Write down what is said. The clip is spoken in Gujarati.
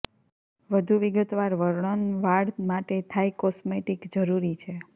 વધુ વિગતવાર વર્ણન વાળ માટે થાઈ કોસ્મેટિક જરૂરી છે